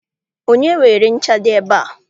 Onye weere ncha dị ebe a?